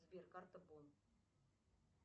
сбер карта бон